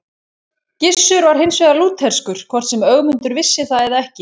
Gissur var hins vegar lútherskur, hvort sem Ögmundur vissi það eða ekki.